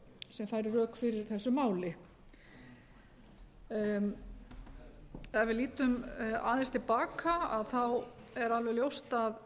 sem færir rök fyrir þessu máli ef við lítum aðeins til baka þá er alveg ljóst að